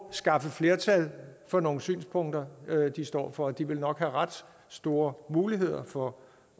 skaffe flertal for nogle synspunkter de står for de vil nok have ret store muligheder for